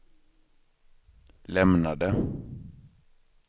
lämnade